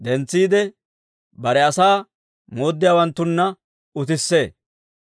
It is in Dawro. Bare asaa mooddiyaawanttunna utissee.